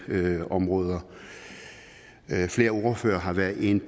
områder flere ordførere har været inde